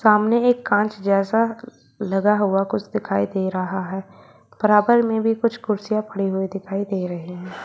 सामने एक कांच जैसा लगा हुआ कुछ दिखाई दे रहा है बराबर में भी कुछ कुर्सियां पड़ी हुई दिखाई दे रही है।